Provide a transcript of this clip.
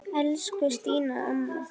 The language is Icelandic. Elsku Stína amma.